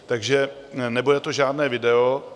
Takže nebude to žádné video.